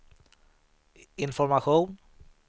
information